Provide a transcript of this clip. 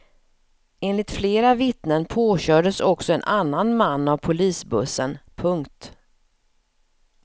Enligt flera vittnen påkördes också en annan man av polisbussen. punkt